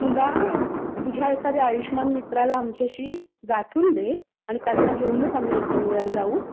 तुला तुझ्या एखाद्या आयुष्यमान मित्राशी आम्हाला गाठून दे. आणि त्यांना घेऊनच आम्ही एक दोन वेळा जाऊ.